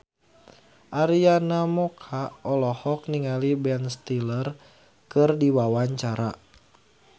Arina Mocca olohok ningali Ben Stiller keur diwawancara